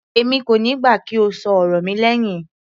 Èmi kò níí gbà kí o ṣọ ọ̀rọ̀ mi lẹhin.